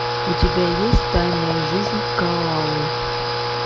у тебя есть тайная жизнь коалы